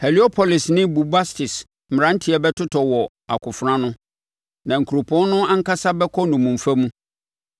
Heliopolis ne Bubastis mmeranteɛ bɛtotɔ wɔ akofena ano, na nkuropɔn no ankasa bɛkɔ nnommumfa mu.